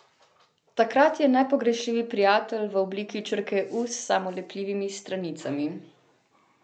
Takrat je nepogrešljiv prijatelj v obliki črke u s samolepljivimi stranicami.